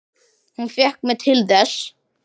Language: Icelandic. Hún fékk mig til þess!